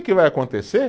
Que vai acontecer?